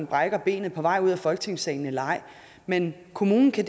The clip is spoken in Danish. brækker benet på vej ud af folketingssalen eller ej men kommunen kan